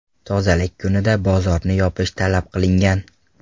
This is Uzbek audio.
Tozalik kunida bozorni yopish talab qilingan.